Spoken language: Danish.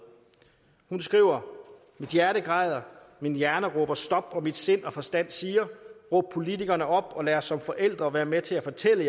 hun skriver mit hjerte græder min hjerne råber stop og mit sind og min forstand siger råb politikerne op og lad os som forældre være med til at fortælle